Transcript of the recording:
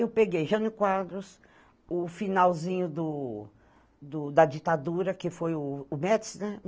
Eu peguei Jânio Quadros, o finalzinho do do da ditadura, que foi o o Métis, né?